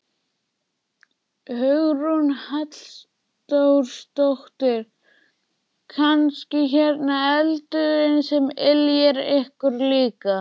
Hugrún Halldórsdóttir: Kannski hérna eldurinn sem yljar ykkur líka?